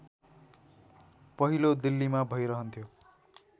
पहिलो दिल्लीमा भइरहन्थ्यो